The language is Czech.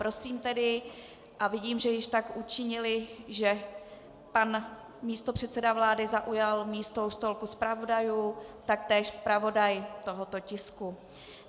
Prosím tedy - a vidím, že již tak učinili, že pan místopředseda vlády zaujal místo u stolku zpravodajů, taktéž zpravodaj tohoto tisku.